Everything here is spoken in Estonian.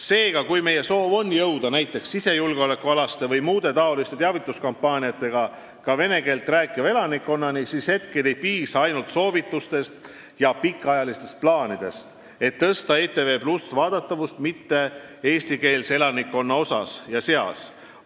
Seega, kui meie soov on jõuda näiteks sisejulgeolekualaste või muude taoliste teavituskampaaniatega ka vene keeles rääkiva elanikkonnani, siis ei piisa ainult soovitustest ja pikaajalistest plaanidest, et tõsta ETV+ vaadatavust mitte-eestikeelse elanikkonna seas.